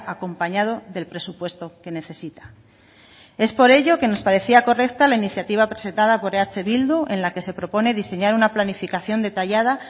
acompañado del presupuesto que necesita es por ello que nos parecía correcta la iniciativa presentada por eh bildu en la que se propone diseñar una planificación detallada